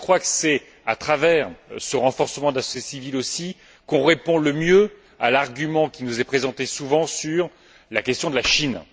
C'est à travers ce renforcement de la société civile aussi qu'on répond le mieux à l'argument qui nous est présenté souvent sur la question de la Chine.